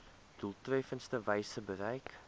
doeltreffendste wyse bereik